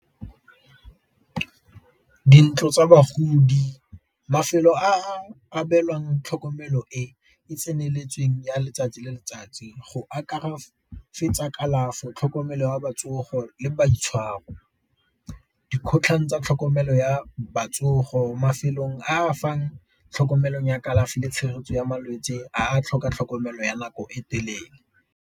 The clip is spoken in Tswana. Dintlo tsa bagodi, mafelo a a abelwang tlhokomelo e e tseneletseng ya letsatsi le letsatsi go akaretsa tsa kalafo, tlhokomelo ya le boitshwaro. Dikgotlhang tsa tlhokomelo ya mafelong a fang tlhokomelong ya kalafi le tshegetso ya malwetse a tlhoka tlhokomelo ya nako e telele.